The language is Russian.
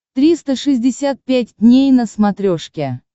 триста шестьдесят пять дней на смотрешке